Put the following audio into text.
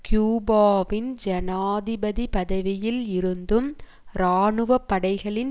கியூபாவின் ஜனாதிபாதி பதவியில் இருந்தும் இராணுவ படைகளின்